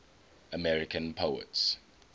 american poets